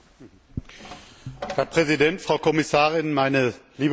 Herr Präsident, Frau Kommissarin, meine lieben Kolleginnen und Kollegen!